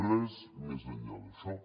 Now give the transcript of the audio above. res més enllà d’això